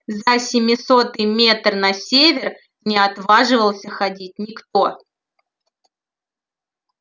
за семисотый метр на север не отваживался ходить никто